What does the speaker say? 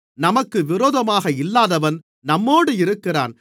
நமக்கு விரோதமாக இல்லாதவன் நம்மோடு இருக்கிறான்